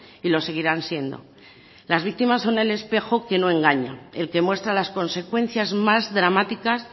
y lo seguirán siendo las víctimas son el espejo que no engaña el que muestra las consecuencias más dramáticas